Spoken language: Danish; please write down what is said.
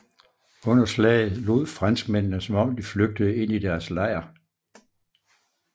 Under slaget lod franskmændene som om de flygtede ind i deres lejr